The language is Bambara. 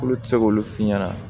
Olu tɛ se k'olu f'i ɲɛna